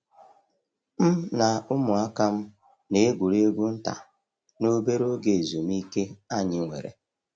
m na umuaka'm na egwuregwu nta n'obere oge ezumike anyi nwere.